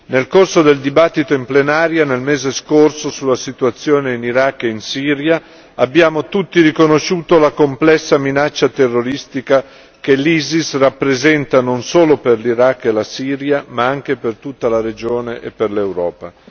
Nel corso del dibattito in plenaria, nel mese scorso sulla situazione in Iraq e in Siria, abbiamo tutti riconosciuto la complessa minaccia terroristica che l'Isis rappresenta non solo per l'Iraq e la Siria, ma anche per tutta la regione e per l'Europa.